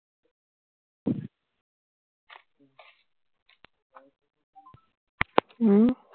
উম